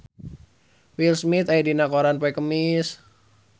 Will Smith aya dina koran poe Kemis